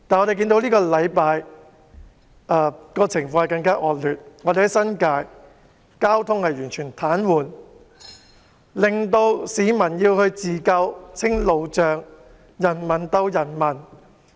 然而，本星期的情況更趨惡劣，新界交通完全癱瘓，市民要自救清除路障，人民鬥人民。